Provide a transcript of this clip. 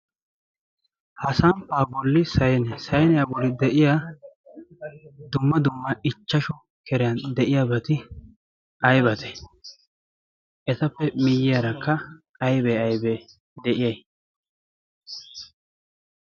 ha samppaa bolli snesaineyaa boli de7iya dumma dumma ichchashu keriyan de7iya bati aibate? esappe miyyiyaarakka aibee aibee de7iyay?